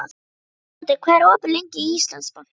Þóroddur, hvað er opið lengi í Íslandsbanka?